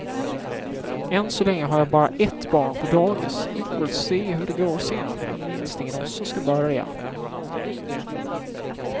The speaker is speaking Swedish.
Än så länge har jag bara ett barn på dagis, vi får väl se hur det går sen när minstingen också ska börja.